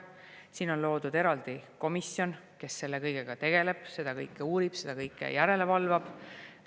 Siin on loodud eraldi komisjon, kes selle kõigega tegeleb, seda kõike uurib ja selle järele valvab.